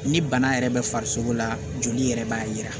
Ni bana yɛrɛ bɛ farisogo la joli yɛrɛ b'a yira